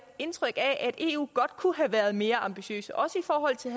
indtryk af at eu godt kunne have været mere ambitiøs også i forhold til